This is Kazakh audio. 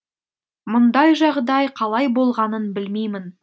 мұндай жағдай қалай болғанын білмеймін